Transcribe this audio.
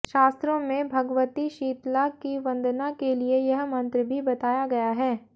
शास्त्रों में भगवती शीतला की वंदना के लिए यह मंत्र भी बताया गया है